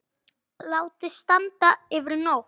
Látið standa yfir nótt.